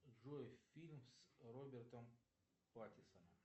джой фильм с робертом паттинсоном